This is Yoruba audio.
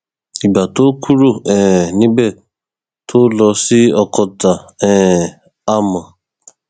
ìgbà tóo kúrò um níbẹ tóo lọ sí ọkọtà um á mọ